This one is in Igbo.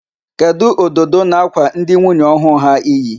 Kedụ ododo na-ákwà ndị nwunye ọhụụ ha iyi?